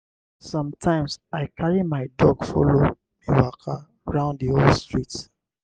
sometimes i carry my dog follow me waka round the whole street.